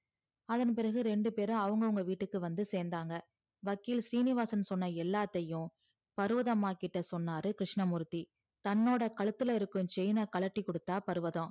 அதன் பிறகு இரண்டு பேரும் அவுங்க அவுங்க வீட்டுக்கு வந்து சேந்தாக வக்கீல் சீனிவாசன் சொன்ன எல்லாத்தையும் பருவதாம் அம்மாகிட்ட சொன்னாரு கிருஸ்னமூர்த்தி தன்னோட கழுத்துல இருக்கும் chain அ கழட்டி கொடுத்த பருவதம்.